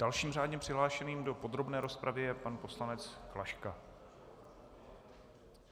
Dalším řádně přihlášeným do podrobné rozpravy je pan poslanec Klaška.